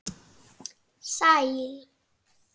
Sæll